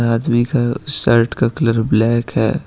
आदमी का शर्ट का कलर ब्लैक है।